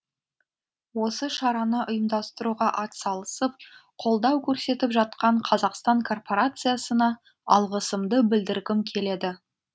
осы шараны ұйымдастыруға атсалысып колдау көрсетіп жатқан қазақстан корпорациясына алғысымды білдіргім келеді